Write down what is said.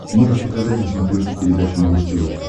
можешь показать на смотрешке передачу малыш тв